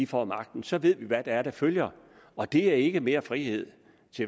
får magten så ved vi hvad det er der følger og det er ikke mere frihed